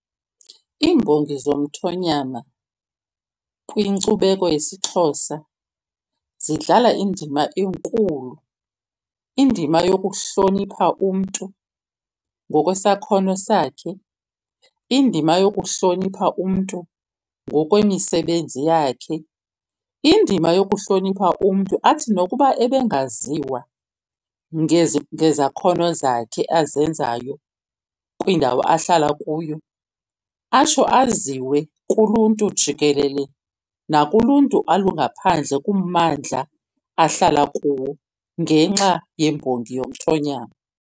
Iimbongi zomthonyama kwinkcubeko yesiXhosa zidlala indima enkulu. Indima yokuhlonipha umntu ngokwesakhono sakhe, indima yokuhlonipha umntu ngokwemisebenzi yakhe. Indima yokuhlonipha umntu athi nokuba ebengaziwa ngezakhono zakhe azenzayo kwindawo ahlala kuyo, atsho aziwe kuluntu jikelele nakuluntu olungaphandle kummandla ahlala kuwo, ngenxa yembongi yomthonyama.